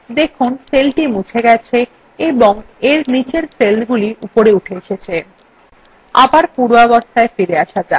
দেখুন cellthe মুছে গেছে এবং এর নীচের cellগুলি উপরে উঠে এসেছে